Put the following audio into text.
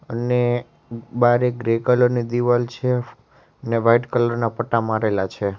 અને બારે grey colour ની દિવાલ છે ને વાઈટ કલર ના પટ્ટા મારેલા છે.